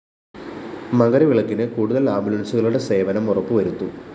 മകരവിളക്കിന് കൂടുതല്‍ ആംബുലന്‍സുകളുടെ സേവനം ഉറപ്പുവരുത്തും